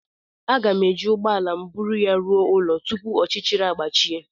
A ga m e ji ụgbọala m búrú ya rụọ ụlọ tupu ọchịchịrị àgbàchie